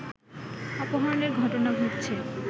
অপহরণের ঘটনা ঘটছে